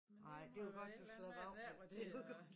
Men det må jo være et eller andet af der hvor de øh